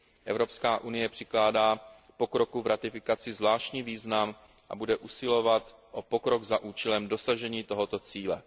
Evropská unie přikládá pokroku v ratifikaci zvláštní význam a bude usilovat o pokrok za účelem dosažení tohoto cíle.